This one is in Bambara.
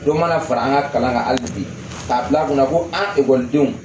Dɔ mana fara an ka kalan kan hali bi k'a bil'an kunna ko an ekɔlidenw